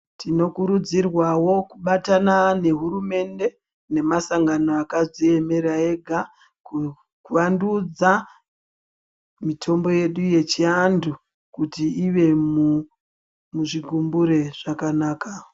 Tinokurudzirwawo kubatana nehurumende nemasangano akadziemera ega kuvandudza mitombo yedu yechiantu kuti ive muzvigumbure zvakanaka.